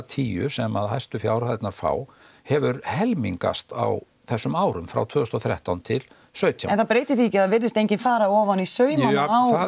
tíu sem að hæstu fjárhæðirnar fá hefur helmingast á þessum árum frá tvö þúsund og þrettán til sautján en það breytir því ekki að það virðist enginn fara ofan í saumana á